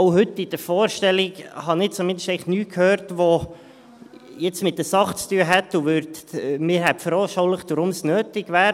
Ich zumindest habe auch heute in der Vorstellung nichts gehört, das mit der Sache zu tun hätte und mir veranschaulicht hätte, warum es nötig wäre.